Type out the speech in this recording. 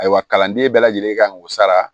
Ayiwa kalanden bɛɛ lajɛlen kan k'o sara